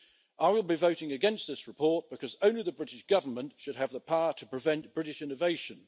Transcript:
I will be voting against this report because only the British Government should have the power to prevent British innovation.